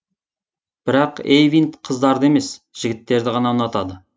бірақ эйвинд қыздарды емес жігіттерді ғана ұнатады